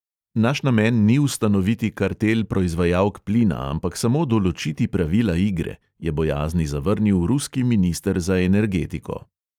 "Naš namen ni ustanoviti kartel proizvajalk plina, ampak samo določiti pravila igre," je bojazni zavrnil ruski minister za energetiko.